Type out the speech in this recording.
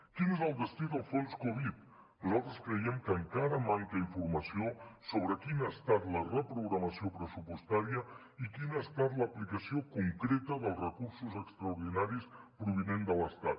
quin és el destí del fons covid nosaltres creiem que encara manca informació sobre quina ha estat la reprogramació pressupostària i quina ha estat l’aplicació concreta dels recursos extraordinaris provinents de l’estat